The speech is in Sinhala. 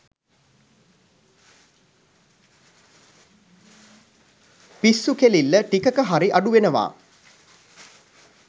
පිස්සු කෙලිල්ල ටිකක හරි අඩු වෙනවා.